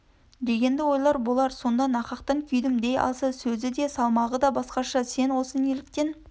дегенді ойлар болар сонда нақақтан күйдім дей алса сөзі де салмағы да басқаша сен осы неліктен